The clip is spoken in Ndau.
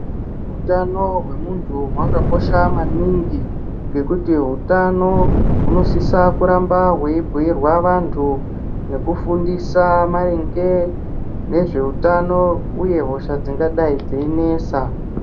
Hutano hwemunthu hwakakosha maningi ngekuti hunotano hunosisa kuramba hweibhiirwa vanthu nekufundisa maringe nezveutano uye hosha dzingadai dzeinesa.